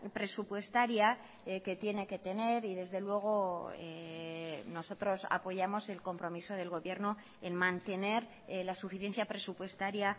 presupuestaria que tiene que tener y desde luego nosotros apoyamos el compromiso del gobierno en mantener la suficiencia presupuestaria